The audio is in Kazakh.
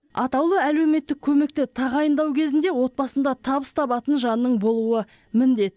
атаулы әлеуметтік көмекті тағайындау кезінде отбасында табыс табатын жанның болуы міндет